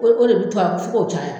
O o de bɛ to yan fo k'o caya.